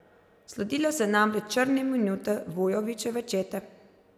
Sledile so namreč črne minute Vujovićeve čete.